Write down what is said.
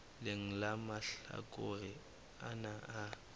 leng la mahlakore ana a